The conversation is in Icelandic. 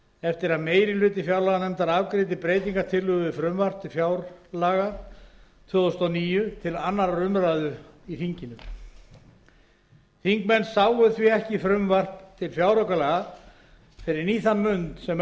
eftir að meiri hluti fjárlaganefndar afgreiddi breytingartillögur við frumvarp til fjárlaga fyrir árið tvö þúsund og níu til annarrar umræðu í þinginu þingmenn sáu því ekki frumvarp til fjáraukalaga fyrr en í þann mund sem